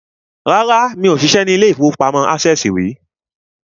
Rárá, mi ò ṣiṣẹ́ ní ilé-ìfowópamọ́ access tẹ́lẹ̀ rí